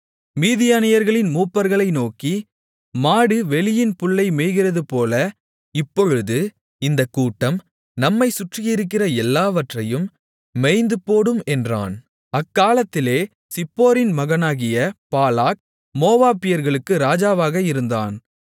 மீதியானியர்களின் மூப்பர்களை நோக்கி மாடு வெளியின் புல்லை மேய்கிறதுபோல இப்பொழுது இந்தக் கூட்டம் நம்மைச் சுற்றியிருக்கிற எல்லாவற்றையும் மேய்ந்துபோடும் என்றான் அக்காலத்திலே சிப்போரின் மகனாகிய பாலாக் மோவாபியர்களுக்கு ராஜாவாக இருந்தான்